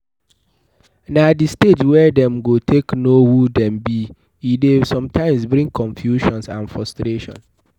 Na the stage wey dem go take know who dem be e de sometimes bring confusion and frustration